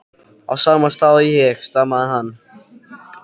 á sama stað og ég, stamaði hann.